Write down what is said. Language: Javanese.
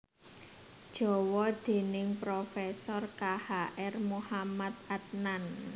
Jawa déning Prof K H R Muhamad Adnan